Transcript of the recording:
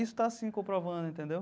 Isso está se comprovando, entendeu?